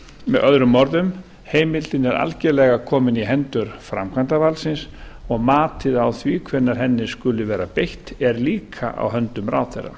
með öðrum orðum heimildin er algerlega komin í hendur framkvæmdarvaldsins og matið á því hvenær henni skuli vera beitt er líka í höndum ráðherra